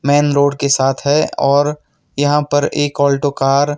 Man road के साथ है और यहां पे एक ऑल्टो कार ।